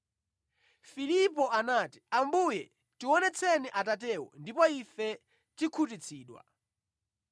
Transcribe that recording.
Filipo anati, “Ambuye, tionetseni Atatewo ndipo ife tikhutitsidwa.”